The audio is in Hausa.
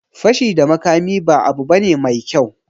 Fashi da makami ba abu bane mai kyau